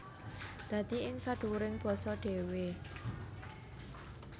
Dadi ing sadhuwuring basa dhéwé